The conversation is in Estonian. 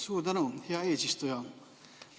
Suur tänu, hea eesistuja!